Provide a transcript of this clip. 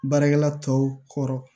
Baarakɛla tɔw kɔrɔ